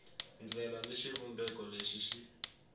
ndlela ni xivumbeko lexi xi